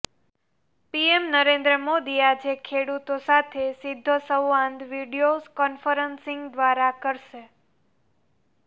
PM Narendra Modi આજે ખેડૂતો સાથે સીધો સંવાદ વીડિયો ક઼ન્ફરન્સિંગ દ્વારા કરશે